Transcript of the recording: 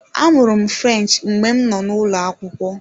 Amụrụ m French mgbe m nọ n'ụlọ akwụkwọ.